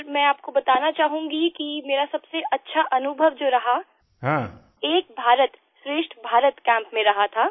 sir मैं आपको बताना चाहूंगी कि मेरा सबसे अच्छा अनुभव जो रहा वो एक भारतश्रेष्ठभारत कैम्प में रहा था